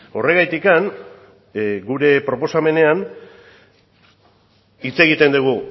horregatik gure proposamenean hitz egiten dugu